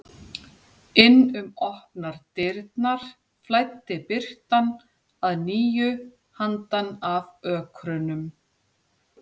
Inn um opnar dyrnar flæddi birtan að nýju handan af ökrunum.